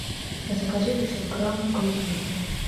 закажи пятьсот грамм клубники